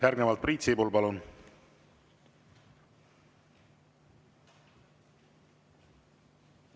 Järgnevalt Priit Sibul, palun!